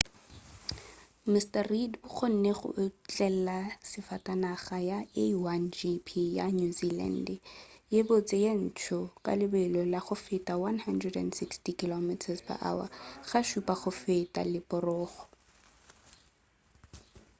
mr reid o kgonne go otlela safatanaga ya a1gp ya new zealand ye botse ye ntsho ka lebelo la go feta 160km/h ga šupa go feta leporogo